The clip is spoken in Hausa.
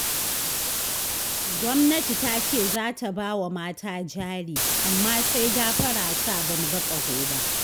Gwamnati ta ce za ta ba wa mata jari, amma sai gafara sa, ba mu ga ƙaho ba